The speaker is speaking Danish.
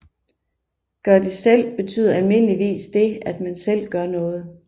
Gør det selv betyder almindeligvis det at man selv gør noget